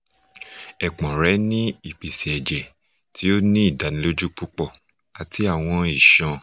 epon re ni ipese ẹjẹ ti o ni idaniloju pupọ ati awọn iṣọn